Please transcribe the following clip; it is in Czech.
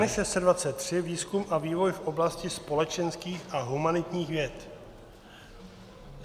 N623 - výzkum a vývoj v oblasti společenských a humanitních věd.